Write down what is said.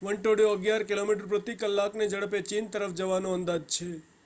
વંટોળિયો અગિયાર કિલોમીટર પ્રતિ કલાકની ઝડપે ચીન તરફ જવાનો અંદાજ છે